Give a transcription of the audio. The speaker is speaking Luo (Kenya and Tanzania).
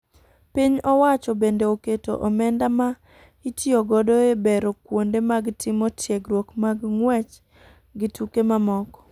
piny owacho bende oketo omenda ma itiyo godo e bero kuonde mag timo tiegruok mag nguech gi tuke mamoko.